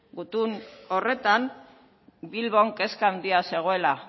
gutun horretan bilbon kezka handia zegoela